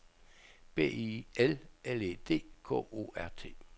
B I L L E D K O R T